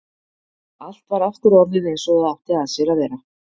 Allt var aftur orðið einsog það átti að sér að vera.